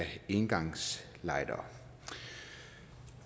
engangslightere